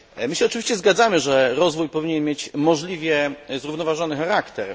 My się oczywiście zgadzamy, że rozwój powinien mieć możliwie zrównoważony charakter.